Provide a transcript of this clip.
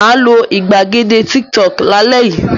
Mà á lo ìgbàgede Tiktok lálẹ́ yìí!